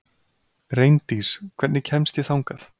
Reyndís, hvernig kemst ég þangað?